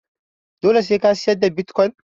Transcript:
Dole sai ka siyar da bitkwon